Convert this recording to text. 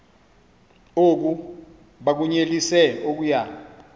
oku bakunyelise okuya